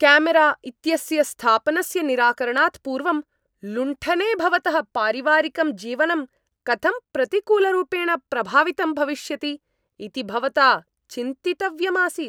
कामेरा इत्यस्य स्थापनस्य निराकरणात् पूर्वं, लुण्ठने भवतः पारिवारिकं जीवनं कथं प्रतिकूलरूपेण प्रभावितं भविष्यति इति भवता चिन्तितव्यम् आसीत्।